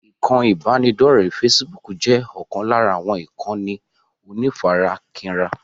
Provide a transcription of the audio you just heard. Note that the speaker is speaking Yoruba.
Ikán ibanidọ̀rẹ́ "fésííbùùkù" jẹ́ ọ̀kan lára àwọn ìkànnì onífarakínra.